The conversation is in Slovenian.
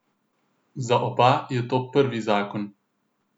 Za oba je to prvi zakon.